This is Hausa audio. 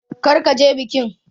Kar ka je bikin!